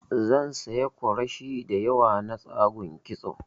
Zan siya kwarashi diyawa na tsagun kitso